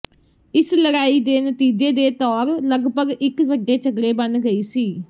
ਇਸ ਲੜਾਈ ਦੇ ਨਤੀਜੇ ਦੇ ਤੌਰ ਲਗਭਗ ਇੱਕ ਵੱਡੇ ਝਗੜੇ ਬਣ ਗਈ ਸੀ